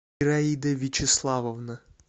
ираида вячеславовна